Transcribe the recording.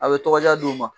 A bɛ tɔgɔ diya di u ma